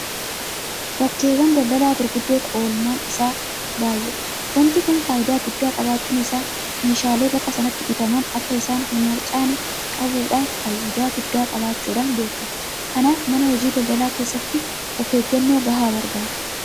Bakkeewwan daldalaa gurguddoo keessatti pilaasteriin hojii irra oolmaan isaa baay'eedha. Waanti kun faayidaa guddaa qabaachuun isaa meeshaalee bakka sanaa bitaman akka isaan hinarcaane qabuudhaaf faayidaa guddaa qabaachuudhaan beekamu. Kanaaf mana hojii daldalaa keessatti ofeeggannoo gahaa barbaada.